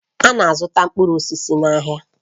A na-azụta mkpụrụ osisi n'ahịa